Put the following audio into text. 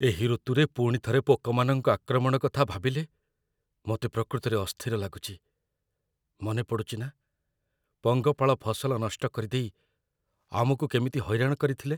ଏହି ଋତୁରେ ପୁଣି ଥରେ ପୋକମାନଙ୍କ ଆକ୍ରମଣ କଥା ଭାବିଲେ ମୋତେ ପ୍ରକୃତରେ ଅସ୍ଥିର ଲାଗୁଛି। ମନେପଡ଼ୁଛି ନା, ପଙ୍ଗପାଳ ଫସଲ ନଷ୍ଟ କରିଦେଇ ଆମକୁ କେମିତି ହଇରାଣ କରିଥିଲେ?